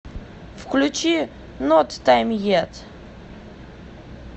включи нот тайм ет